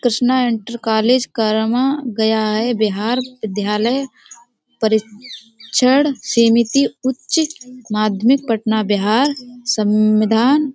Krishna inter college करमां गया है बिहार विद्यालय परीक्षण समिति उच्च माध्यमिक पटना बिहार सविंधान।